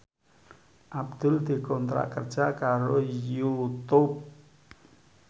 Abdul dikontrak kerja karo Youtube